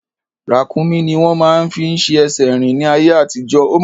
Ràkúnmí ni wọ́n máa ń fi ṣe ẹsẹ̀ rín ní ayé àtijọ́